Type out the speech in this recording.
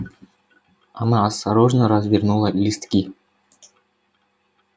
она осторожно развернула листки